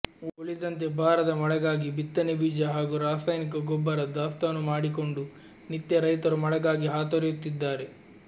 ಉಳಿದಂತೆ ಬಾರದ ಮಳೆಗಾಗಿ ಬಿತ್ತನೆ ಬೀಜ ಹಾಗೂ ರಾಸಾಯನಿಕ ಗೊಬ್ಬರ ದಾಸ್ತಾನು ಮಾಡಿಕೊಂಡು ನಿತ್ಯ ರೈತರು ಮಳೆಗಾಗಿ ಹಾತೊರೆಯುತ್ತಿದ್ದಾರೆ